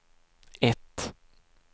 ett